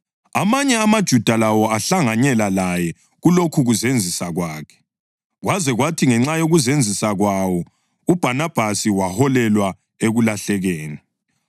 Amanye amaJuda lawo ahlanganyela laye kulokhukuzenzisa kwakhe, kwaze kwathi ngenxa yokuzenzisa kwawo uBhanabhasi waholelwa ekulahlekeni.